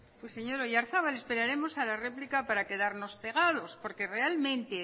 pues señor oyarzabal esperaremos a la réplica para quedarnos pegados porque realmente